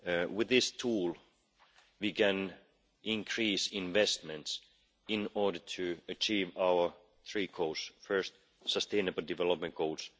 With this tool we can increase investments in order to achieve our three goals first, the sustainable development goals